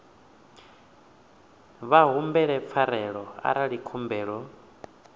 vha humbele pfarelo arali khumbelo